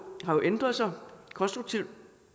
har jo ændret sig konstruktivt